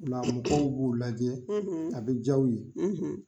Ola mɔgɔw b'u lajɛ, , a bɛ diya u ye,